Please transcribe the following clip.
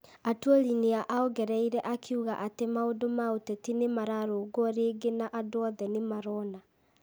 Atwoli nĩ ongereire akiuga atĩ maũndũ ma ũteti nĩ mararũngwo rĩngĩ na andũ othe nĩ marona.